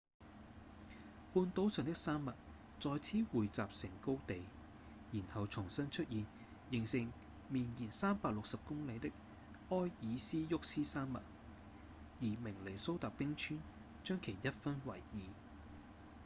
半島上的山脈在此匯集成高地然後重新出現形成綿延360公里的埃爾斯沃思山脈而明尼蘇達冰川將其一分為二